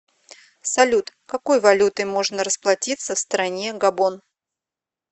салют какой валютой можно расплатиться в стране габон